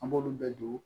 An b'olu bɛɛ don